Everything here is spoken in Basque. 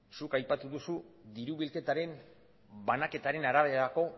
zuk aipatu duzu diru bilketaren banaketaren araberako